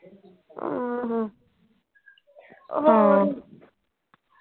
ਆਹੋ ਹਾਂ ਹੋਰ